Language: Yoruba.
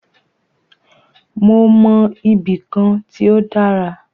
Mó mọ ibì kan tí o dára.